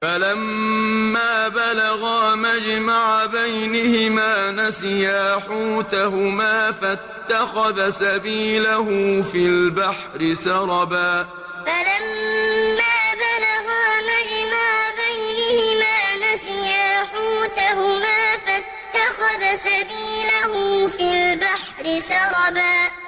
فَلَمَّا بَلَغَا مَجْمَعَ بَيْنِهِمَا نَسِيَا حُوتَهُمَا فَاتَّخَذَ سَبِيلَهُ فِي الْبَحْرِ سَرَبًا فَلَمَّا بَلَغَا مَجْمَعَ بَيْنِهِمَا نَسِيَا حُوتَهُمَا فَاتَّخَذَ سَبِيلَهُ فِي الْبَحْرِ سَرَبًا